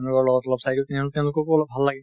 তেওঁলোকৰ লগত অলপ চাই দিওঁ, তেনেহলে তেওঁলোককো অলপ ভাল লাগে